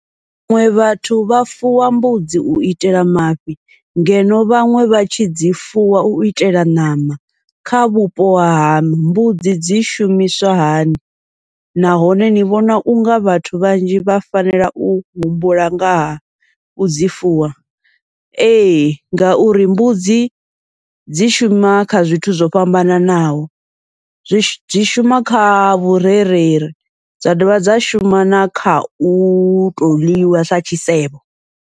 Vhaṅwe vhathu vha fuwa mbudzi uitela mafhi ngeno vhaṅwe vha tshi dzi fuwa uitela ṋama, kha vhupo ha mbudzi dzi shumiswa hani, nahone ni vhona unga vhathu vhanzhi vha fanela u humbula ngaha udzi fuwa. Ee ngauri mbudzi dzi shuma kha zwithu zwo fhambananaho, zwi zwi shuma kha vhurereli dza dovha dza shuma na kha uto ḽiwa sa tshisevho.